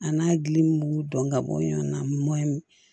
A n'a gili b'u dɔn ka bɔ ɲɔn na